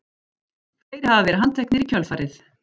Fleiri hafa verið handteknir í kjölfarið